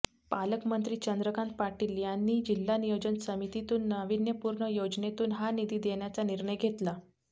पालकमंत्री चंद्रकांत पाटील यांनी जिल्हा नियोजन समितीतून नावीन्यपूर्ण योजनेतून हा निधी देण्याचा निर्णय घेतला